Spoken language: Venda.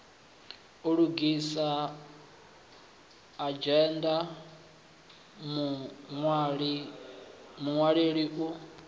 u lugisa adzhenda muṅwaleli u